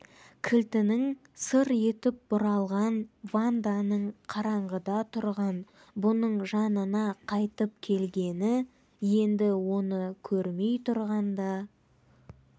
кілтінің сыр етіп бұралған ванданың қараңғыда тұрған бұның жанына қайтып келгені енді оны көрмей тұрғанда